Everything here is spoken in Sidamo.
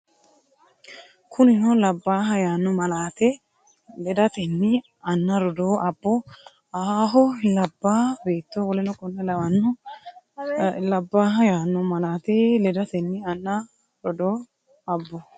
Kunino labbaaha yaanno malaate ledatenni anna, rodoo, abbo, ahaaho, labbaa beetto w k l Kunino labbaaha yaanno malaate ledatenni anna, rodoo, abbo,.